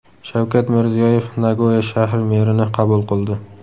Shavkat Mirziyoyev Nagoya shahri merini qabul qildi.